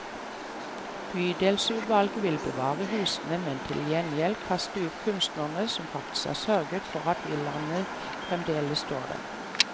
Bydelsutvalget vil bevare husene, men til gjengjeld kaste ut kunstnerne som faktisk har sørget for at villaene fremdeles står der.